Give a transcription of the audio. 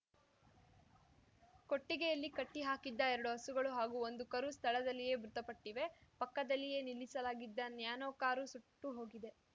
ಕೊಟ್ಟಿಗೆಯಲ್ಲಿ ಕಟ್ಟಿಹಾಕಿದ್ದ ಎರಡು ಹಸುಗಳು ಹಾಗೂ ಒಂದು ಕರು ಸ್ಥಳದಲ್ಲಿಯೇ ಮೃತಪಟ್ಟಿವೆ ಪಕ್ಕದಲ್ಲಿಯೇ ನಿಲ್ಲಿಸಲಾಗಿದ್ದ ನ್ಯಾನೊ ಕಾರು ಸುಟ್ಟು ಹೋಗಿದೆ